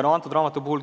Selle raamatu puhul